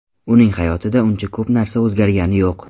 Uning hayotida uncha ko‘p narsa o‘zgargani yo‘q.